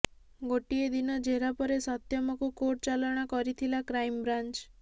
ଗୋଟିଏ ଦିନ ଜେରା ପରେ ସତ୍ୟମକୁ କୋର୍ଟ ଚାଲାଣ କରିଥିଲା କ୍ରାଇମବ୍ରାଞ୍ଚ୍